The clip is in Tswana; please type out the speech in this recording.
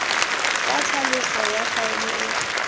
fa tlhaloso ya faele e